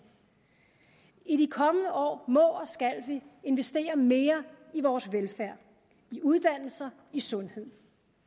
i de kommende år må og skal vi investere mere i vores velfærd i uddannelser i sundhed